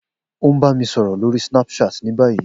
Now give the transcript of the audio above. O n ba mi sọrọ lori Snapchat ni bayi.